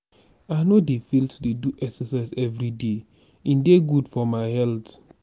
i no dey fail to do exercise everyday e dey good for my health.